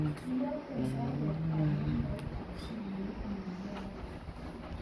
Iyokten baruet ab nambait ab simoit nelelach